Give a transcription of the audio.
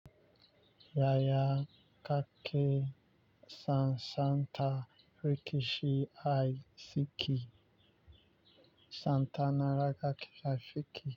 Yaya kake sansanta rikishi ai Siki, Santana Ragaki Safiki.